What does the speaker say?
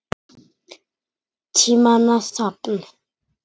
Tímanna safn